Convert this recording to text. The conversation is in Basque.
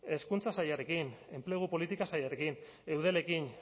hezkuntza sailarekin enplegu politika sailarekin eudelekin